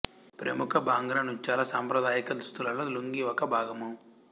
ప్రముఖ భాంగ్రా నృత్యాల సాంప్రదాయిక దుస్తులలో లుంగీ ఒక భాగము